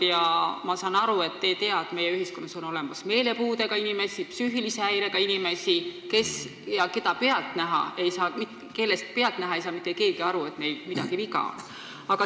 Ma saan aru, et te ei tea, et meie ühiskonnas on olemas meelepuudega, psüühilise häirega inimesi, kelle puhul ei saa pealtnäha mitte keegi aru, et neil midagi viga on.